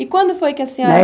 E quando foi que a senhora